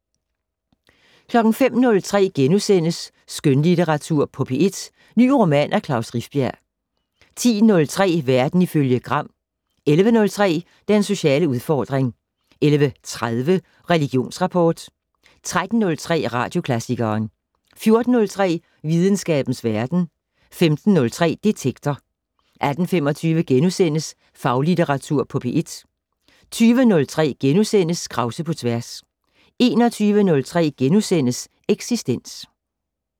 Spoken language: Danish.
05:03: Skønlitteratur på P1 - ny roman af Klaus Rifbjerg * 10:03: Verden ifølge Gram 11:03: Den sociale udfordring 11:30: Religionsrapport 13:03: Radioklassikeren 14:03: Videnskabens Verden 15:03: Detektor 18:25: Faglitteratur på P1 * 20:03: Krause på tværs * 21:03: Eksistens *